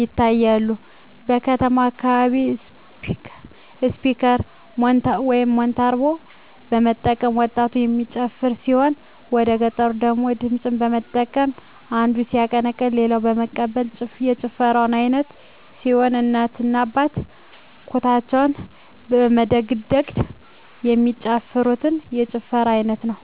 ይታያሉ። በከተማው አካባቢ ስፒከር (ሞንታርቦ) በመጠቀም ወጣቱ የሚጨፍር ሲሆን ወደገጠሩ ደግሞ ድምፅን በመጠቀም አንዱ ሲያቀነቅን ሌሎች በመቀበል የጭፈራ አይነት ሲሆን እናቶ እና አባቶች ኩታቸውን በማደግደግ የሚጨፍሩት የጭፈራ አይነት ነው።